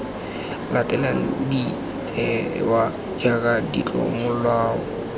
latelang de tsewa jaaka ditlomolao